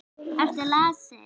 Ertu lasin?